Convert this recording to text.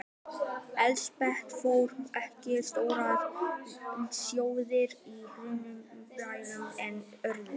Elsabet fór ekki troðnar slóðir í hannyrðum fremur en öðru.